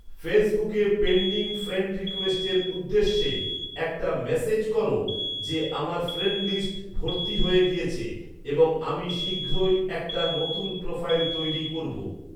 ফেসবুকে pending friend রিকোয়েস্টের উদ্দেশে একটা মেসেজ করো যে আমার ফ্রেন্ড লিস্ট ভর্তি হয়ে গিয়েছে এবং আমি শীঘ্রই একটা নতুন প্রোফাইল তৈরি করব